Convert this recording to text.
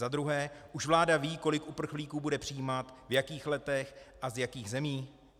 Za druhé, už vláda ví, kolik uprchlíků bude přijímat, v jakých letech a z jakých zemí?